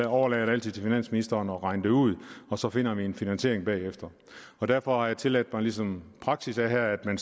overlader det altid til finansministeren at regne det ud og så finder vi en finansiering bagefter derfor har jeg tilladt mig ligesom praksis er her at man